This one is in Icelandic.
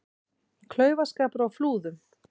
Klaufaskapur á Flúðum